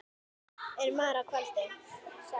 er mara kvaldi.